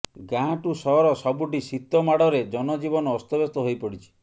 ଗାଁ ଠୁ ସହର ସବୁଠି ଶୀତମାଡ଼ରେ ଜନଜୀବନ ଅସ୍ତବ୍ୟସ୍ତ ହୋଇପଡ଼ିଛି